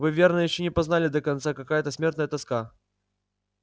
вы верно ещё не познали до конца какая это смертная тоска